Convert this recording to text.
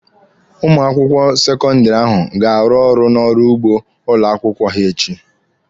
Ụmụ akwụkwọ sekọndịrị ahụ ga-arụ ọrụ n'ọrụ ugbo ụlọ akwụkwọ ha echi.